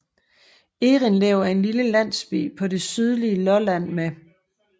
Errindlev er en lille landsby på det sydlige Lolland med